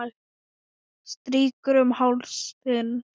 Strýk um háls þinn.